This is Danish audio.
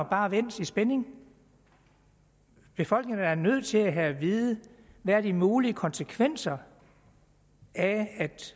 bare vente i spænding befolkningen er da nødt til at have at vide hvad de mulige konsekvenser af at